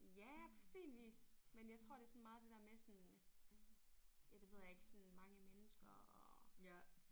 Ja på sin vis. Men jeg tror det sådan meget det der med sådan ja det ved jeg ikke sådan mange mennesker og